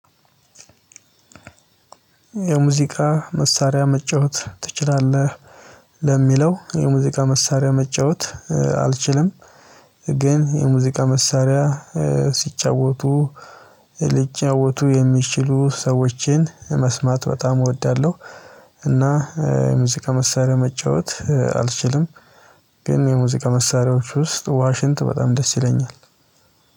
የሙዚቃ መሳሪያ መጫወት ትችላለህ? ለሚለው የሙዚቃ መሳሪያ መጫወት አልችልም። ግን የሙዚቃ መሳሪያ ሲጫወቱ ሊጫወቱ የሚችሉ ሰዎችን መስማት በጣም እወዳለሁ። እና የሙዚቃ መሳሪያ መጫወት አልችልም። ግን የሙዚቃ መሳሪያዎች ውስጥ ዋሽንት በጣም ደስ ይለኛል